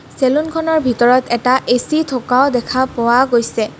Salon খনৰ ভিতৰত এটা এ_চি থকাও দেখা পোৱা গৈছে.